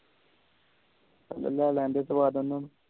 ਲੈ ਲੈਣ ਦੇ ਸਵਾਦ ਓਹਨੂੰ